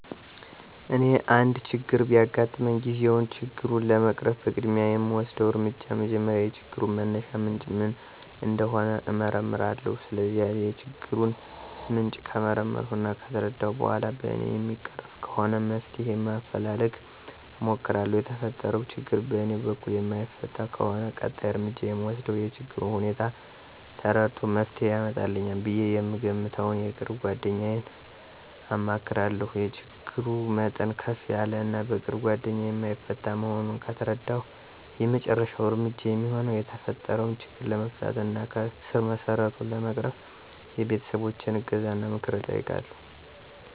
እኔ አንድ ችግር በሚያጋጥመኝ ጊዜ ችግሩን ለመቅረፍ በቅድሚያ የምወስደው እርምጃ መጀመሪያ የችግሩን መነሻ ምንጭ ምን እንደሆነ እመረምራለሁ። ስለዚህ የችግሩን ምንጭ ከመረመርሁ እና ከተረዳሁ በኋላ በእኔ የሚቀረፍ ከሆነ መፍትሄ ማፈላለግ እሞክራለሁ። የተፈጠረው ችግር በእኔ በኩል የማይፈታ ከሆነ ቀጣይ እርምጃ የምወስደው የችግሩን ሁኔታ ተረድቶ መፍትሄ ያመጣልኛል ብዬ የምገምተውን የቅርብ ጓደኛዬን አማክራለሁ። የችግሩ መጠን ከፍ ያለ እና በቅርብ ጓደኛዬ የማይፈታ መሆኑን ከተረዳሁ የመጨረሻው እርምጃ የሚሆነው የተፈጠረው ችግር ለመፍታት እና ከስረመሰረቱ ለመቅረፍ የቤተሰቦቸን እገዛና ምክር እጠይቃለሁ።